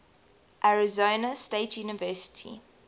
arizona state university